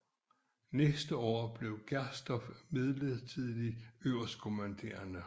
Næste år blev Gersdorff midlertidig øverstkommanderende